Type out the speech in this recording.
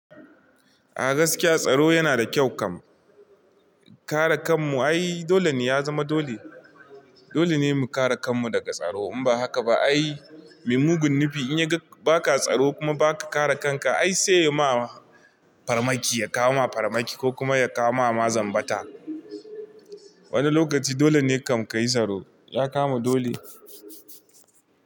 A gaskiya tsaro yana da kyau kam. Kare kanmu ai dole ne ya zama dole. Dole ne mu kare kanmu daga tsaro. In ba haka ba ai mai mugun nufi in ya ga ba ka tsaro kuma ba ka kare kanka ai sai ya ma farmaki, ya kawo ma farmaki ko kuma ya kawo ma zambata. Wani lokaci dole ne kam ka yi tsaro. Ya kama dole.